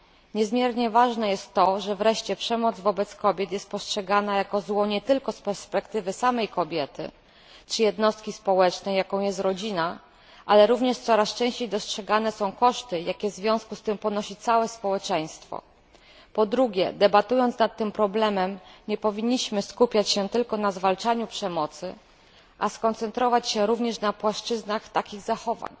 Niezmiernie ważne jest to, że wreszcie przemoc wobec kobiet postrzegana jest jako zło nie tylko z perspektywy samej kobiety, czy jednostki społecznej, jaką jest rodzina, ale również coraz częściej dostrzegane są koszty, jakie w związku z tym ponosi całe społeczeństwo. Po drugie, debatując nad tym problemem nie powinniśmy skupiać się tylko na zwalczaniu przemocy, lecz powinniśmy skoncentrować się również na płaszczyznach takich zachowań.